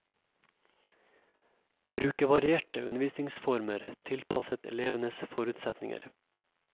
Bruke varierte undervisningsformer, tilpasset elevenes forutsetninger.